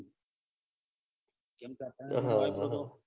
ત્યાં